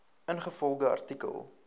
ingevolge artikel